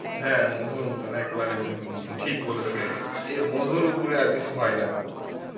হ্যাঁ মধুর মত একবারে মধুর মত ঠিক বলেছ এর মধুর উপরে আর কিছু হয় না